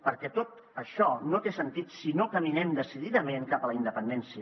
perquè tot això no té sentit si no caminem decididament cap a la independència